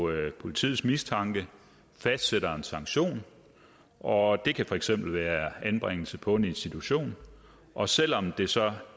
politiets mistanke fastsætter en sanktion og det kan for eksempel være anbringelse på en institution og selv om det så